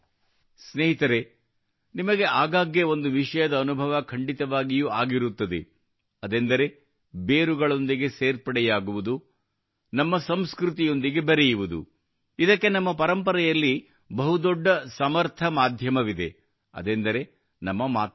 ಸ್ನೇಹಿತರೇ ನಿಮಗೆ ಆಗಾಗ್ಗೆ ಒಂದು ವಿಷಯದ ಅನುಭವ ಖಂಡಿತವಾಗಿಯೂ ಆಗಿರುತ್ತದೆ ಅದೆಂದರೆ ಬೇರುಗಳೊಂದಿಗೆ ಸೇರ್ಪಡೆಯಾಗುವುದು ನಮ್ಮ ಸಂಸ್ಕೃತಿಯೊಂದಿಗೆ ಬೆರೆಯುವುದು ಇದಕ್ಕೆ ನಮ್ಮ ಪರಂಪರೆಯಲ್ಲಿ ಬಹು ದೊಡ್ಡ ಸಮರ್ಥ ಮಾಧ್ಯಮವಿದೆ ಅದೆಂದರೆ ನಮ್ಮ ಮಾತೃಭಾಷೆ